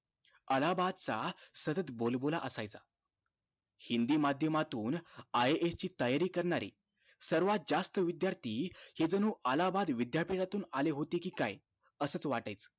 अलाहाबाद चा सतत बोलबोला असायचा हिंदी माध्यमातून IAS ची तयारी करणारे सर्वात जास्त विद्यार्थी हे जणु अलाहाबाद विद्यापीठातून आले होते कि काय असच वाटायचं